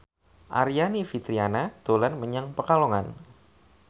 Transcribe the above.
Aryani Fitriana dolan menyang Pekalongan